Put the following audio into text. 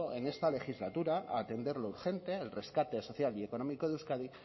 en esta legislatura a atender lo urgente el rescate social y económico de euskadi